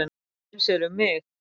Eins er um mig.